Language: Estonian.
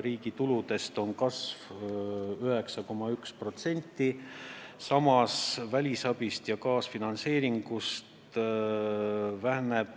Riigi tuludest on kasv 9,1%, samas kui välisabi ja kaasfinantseeringu maht on vähenenud